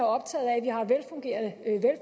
optaget af